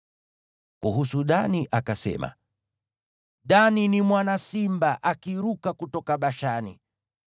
Kuhusu Dani akasema: “Dani ni mwana simba, akiruka kutoka Bashani.”